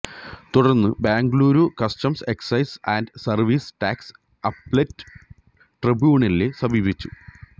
തുടർന്ന് Bengaluru customs excise and service tax appellate ട്രിബ്യൂണലിനെ സമീപിച്ചു